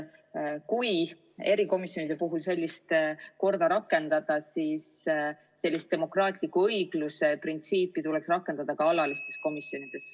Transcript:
Kui erikomisjonide puhul sellist korda rakendada, siis tuleks demokraatliku õigluse printsiipi rakendada ka alatistes komisjonides.